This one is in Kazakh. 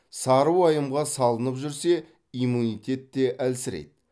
сары уайымға салынып жүрсе иммунитет те әлсірейді